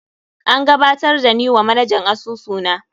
An gabatar da ni wa manajan asusu na.